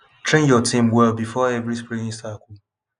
train your team well before every spraying cycle